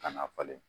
Ka na falen